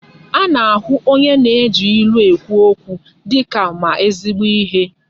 Ana-ahụ onye na-eji ilu ekwu okwu dịka ma ezigbo ihe.